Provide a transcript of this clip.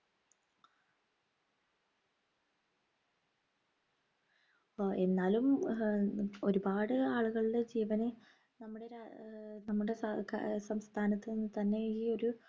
എന്നാലും ഏർ ഒരുപാട് ആളുകളുടെ ജീവനെ നമ്മുടെ രാ ആഹ് നമ്മുടെ സ ആഹ് സംസ്ഥാനത്ത് നിന്ന് തന്നെ ഈയൊരു